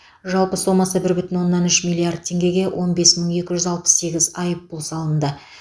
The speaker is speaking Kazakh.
жалпы сомасы бір бүтін оннан үш миллиард теңгеге он бес мың екі жүз алпыс сегіз айыппұл салынды